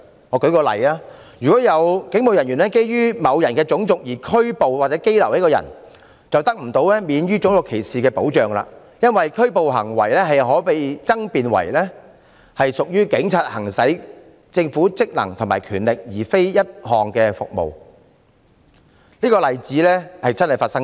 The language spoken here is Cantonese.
我舉個例子，如果有警務人員基於某人的種族而拘捕和羈留他，該人得不到免於種族歧視的保障，因為拘捕行為可被爭辯為警察行使政府職能和權力，而非一項服務，這個例子確曾發生過。